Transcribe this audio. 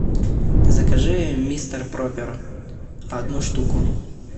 закажи мистер пропер одну штуку